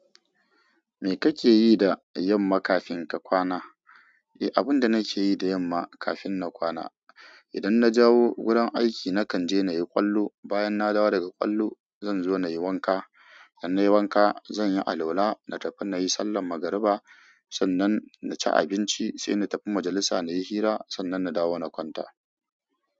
Me kake yi da yamma kafin ka kwana? Eh, abinda nake yi da yamma kafin na kwana, idan na jawo wurin aiki nakan je na yi ƙwallo. Bayan na dawo daga ƙwallo, zan zo na yi wanka. Dan nayi wanka, zan yi alwala, na tafi na yi sallar magariba. Sannan na ci abinci sai na tafi majalisa na yi hira. Sannan na dawo na kwanta.